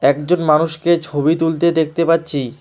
একজন মানুষকে ছবি তুলতে দেখতে পাচ্ছি।